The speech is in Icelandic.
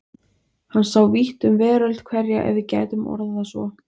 Hann sá vítt um veröld hverja ef við getum orðað það svo.